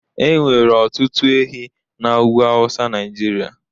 enwere otutu ehi na ugwu awusa Naijiria